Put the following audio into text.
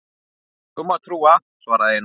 Því máttu trúa, svaraði Einar.